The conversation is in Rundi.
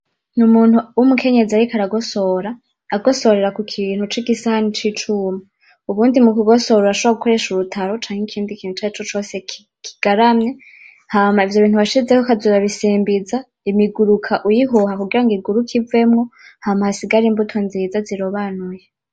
Ni umuntu w'umukenyezi ariko aragosora. Agosorera ku kintu c'igisahani cicuma. Ubundi mu kugosora urashobora gukoresha urutaro canke ikindi kintu icarico cose kigaramye hama ivyo bintu washizeho ukaza urabisimbiza imiguruka uyihuha kugirango iguruke ivemo, hama hasigare imbuto nziza zirobanuye.